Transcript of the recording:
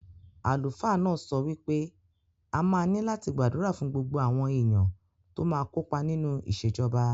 Àlùfáà náà sọ wí pé a máa ní láti gbàdúrà fún gbogbo àwọn èèyàn tó máa kó pa nínú ìṣèjọba